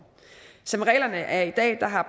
som reglerne er i dag har